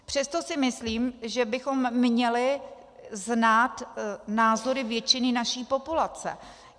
Přesto si myslím, že bychom měli znát názory většiny naší populace.